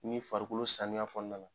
Ni farikolo saniya kɔnɔna na